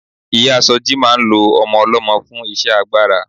Ìyáa Sọjí máa ń lo ọmọ ọlọ́mọ fún iṣẹ́ agbára.